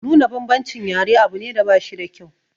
Nuna bambancin yare abu ne da bashi da kyau.